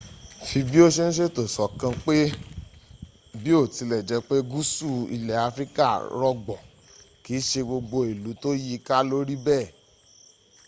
fi bí o ṣe ń ṣètò sọ́kàn pé biotilejepe gúúsù ilẹ̀ afirika rọgbọ kìí ṣe gbogbo ìlú tó yíiká ló rí bẹ́ẹ̀